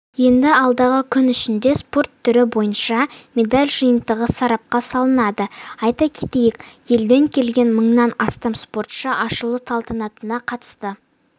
енді алдағы күн ішінде спорт түрі бойынша медаль жиынтығы сарапқа салынады айта кетейік елден келген мыңнан астам спортшы ашылу салтанатына қатысты